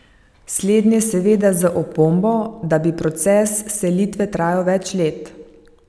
Slednje seveda z opombo, da bi proces selitve trajal več let.